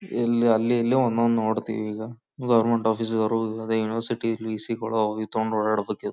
ಇಲ್ಲಿ ಅಲ್ಲಿ ಎಲ್ಲೊ ಒಂದೊಂದ್ ನೋಡ್ತಿವಿ ಈಗ ಗವರ್ನಮೆಂಟ್ ಆಫೀಸರ್ ಅದೆನೊ ಯೂನಿವರ್ಸಿಟಿ ಲೀಸ್ ತಕೊಂಡ್ ಓಡಾಡ್ಬೇಕ್ --